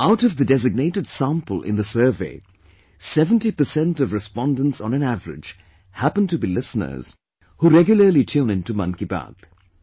Out of the designated sample in the survey, 70% of respondents on an average happen to be listeners who regularly tune in to ''Mann Ki Baat'